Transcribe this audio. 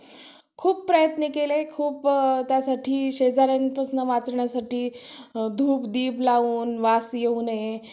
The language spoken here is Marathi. खूप प्रयत्न केले खूप त्यासाठी शेजाऱ्यांपासनं वाचण्यासाठी धूप दीप लावून वास येऊ नये